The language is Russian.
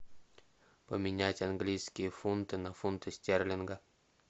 поменять английские фунты на фунты стерлинга